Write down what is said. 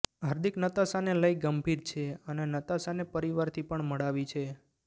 હાર્દિક નતાશાને લઈ ગંભીર છે અને નતાશાને પરિવારથી પણ મળાવી છે